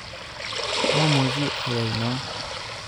Momuche ayai non